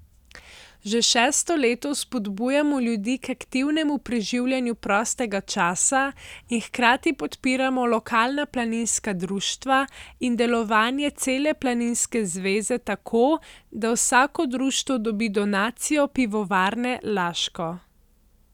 Že šesto leto spodbujamo ljudi k aktivnemu preživljanju prostega časa in hkrati podpiramo lokalna planinska društva in delovanje cele planinske zveze tako, da vsako društvo dobi donacijo Pivovarne Laško.